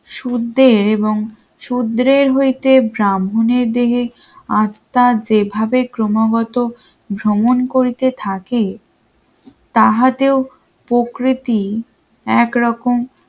শুদ্ধ এবং শূদ্রের হইতে ব্রাহ্মণের দেহে আত্মা যেভাবে ক্রমাগত ভ্রমণ করিতে থাকে তাহাতেও প্রকৃতি এক রকম